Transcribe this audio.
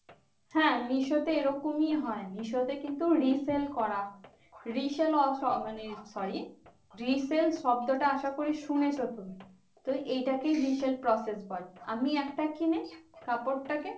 হ্যাঁ মিশো তে এইরকমই হয়। মিশো তে কিন্তু resale করা resale মানে sorry resale শব্দটা আশাকরি শুনেছ তুমি? তো এটাকেই resale process বলে। আমি একটা কিনে কাপড়টা কে